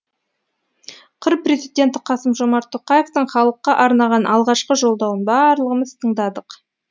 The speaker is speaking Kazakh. қр президенті қасым жомарт тоқаевтың халыққа арнаған алғашқы жолдауын барлығымыз тыңдадық